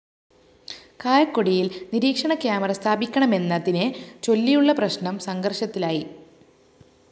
കായക്കൊടിയില്‍ നിരീക്ഷണ കാമറ സ്ഥാപിക്കണമെന്നതിനെ ചൊല്ലിയുളള പ്രശ്‌നം സംഘര്‍ഷത്തിലായി